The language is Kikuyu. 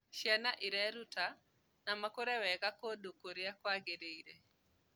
Ciana ireruta na makũre wega kũndũ kũrĩa kwagĩrĩire.